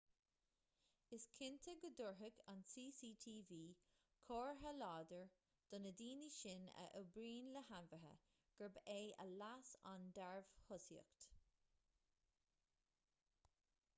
is cinnte go dtabharfadh an cctv comhartha láidir do na daoine sin a oibríonn le hainmhithe gurb é a leas an dearbhthosaíocht